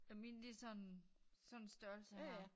Og mine de sådan sådan størrelse her